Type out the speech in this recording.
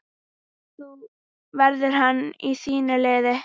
Verður hann í þínu liði?